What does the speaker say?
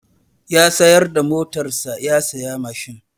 Ya sayar da motar sa ya saya mashin.